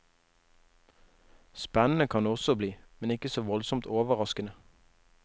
Spennende kan det også bli, men ikke så voldsomt overraskende.